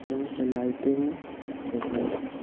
यहां पे लाइटें हैं जो कि--